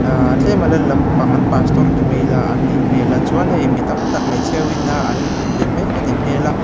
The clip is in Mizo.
aa tlema lal lampang an pastor ti mai ila an nih hmela chuan hei mi tamtak hmeichhia hoin a an be mek anih hmel a.